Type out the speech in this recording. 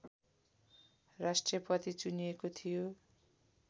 राष्ट्रपति चुनिएको थियो